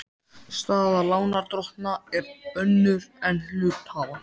Staða lánardrottna er önnur en hluthafa.